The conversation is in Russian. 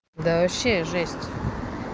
да вообще жесть